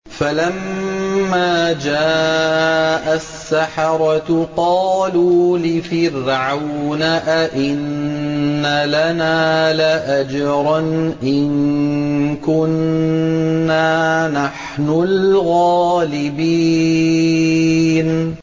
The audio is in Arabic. فَلَمَّا جَاءَ السَّحَرَةُ قَالُوا لِفِرْعَوْنَ أَئِنَّ لَنَا لَأَجْرًا إِن كُنَّا نَحْنُ الْغَالِبِينَ